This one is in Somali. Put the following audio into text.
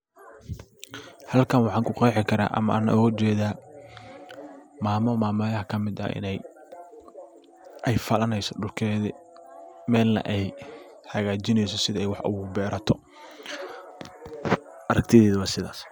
Halkan waxan ku qeexi kara ama aan ooga jeeda maamo maamayaha kamid ah ina ay falanayso dhulkeedi melna ay hagajinayso siday wax ogu beerato aragtidayda waa sidas.